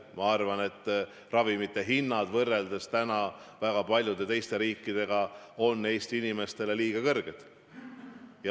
Ma arvan, et ravimid on Eesti inimestele, võrreldes hindadega väga paljudes teistes riikides, liiga kallid.